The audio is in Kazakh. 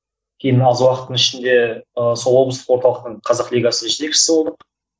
кейін аз уақыттың ішінде ы сол облыстық орталықтың қазақ лигасы жетекшісі болдық